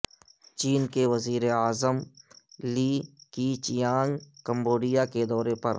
چین کے وزیر اعظم اعظم لی کیچیانگکمبوڈیا کے دورے پر